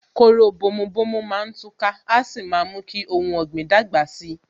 Kóró bomu bomu má tú ká, a sì mú kí ohun ọ̀gbìn dàgbà si